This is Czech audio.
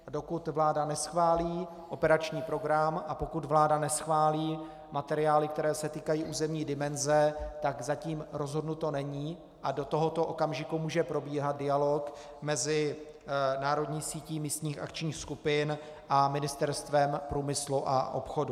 Dokud vláda neschválí operační program a pokud vláda neschválí materiály, které se týkají územní dimenze, tak zatím rozhodnuto není a do tohoto okamžiku může probíhat dialog mezi národní sítí místních akčních skupin a Ministerstvem průmyslu a obchodu.